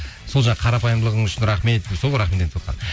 сол жаңағы қарапайымдылығың үшін рахмет деп сол